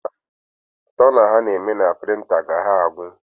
Tona a na-eme na prịnta ga-agwụ